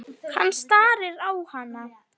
Hann starir á hana.